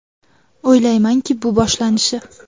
O‘ylaymanki, bu boshlanishi.